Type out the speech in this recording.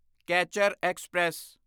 catcher express